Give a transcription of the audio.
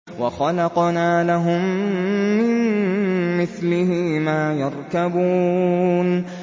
وَخَلَقْنَا لَهُم مِّن مِّثْلِهِ مَا يَرْكَبُونَ